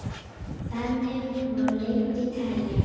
Þannig má lengi telja.